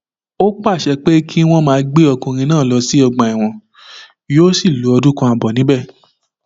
ó pàṣẹ pé kí wọn máa gbé ọkùnrin náà lọ sọgbà ẹwọn yóò sì lo ọdún kan ààbọ níbẹ